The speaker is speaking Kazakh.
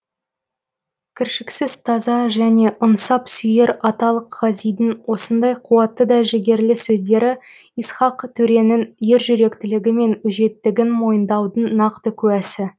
кіршіксіз таза және ынсап сүйер аталық ғазидің осындай қуатты да жігерлі сөздері исхақ төренің ержүректілігі мен өжеттігін мойындаудың нақты куәсі